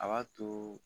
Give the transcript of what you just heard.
A b'a to